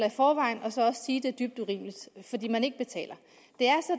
i forvejen og så også sige at det er dybt urimeligt fordi man ikke betaler det